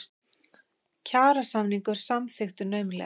Kjarasamningur samþykktur naumlega